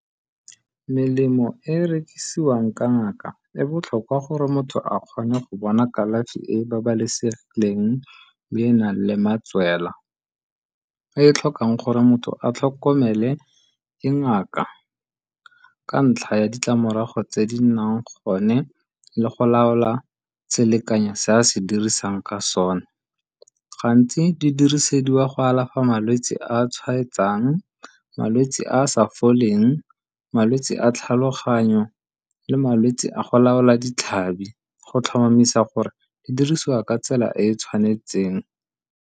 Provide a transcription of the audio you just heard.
Melemo e e rekisiwang ka ngaka e botlhokwa gore motho a kgone go bona kalafi e e babalesegileng le e e nang le matswela e e tlhokang gore motho a tlhokomele ke ngaka ka ntlha ya ditlamorago tse di nnang gone le go laola selekanyo se a se dirisang ka sone. Gantsi di dirisediwa go alafa malwetsi a tshwaetsang, malwetsi a a sa foleng, malwetsi a tlhaloganyo le malwetsi a go laola ditlhabi go tlhomamisa gore di dirisiwa ka tsela e e tshwanetseng.